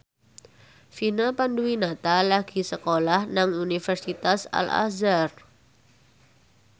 Vina Panduwinata lagi sekolah nang Universitas Al Azhar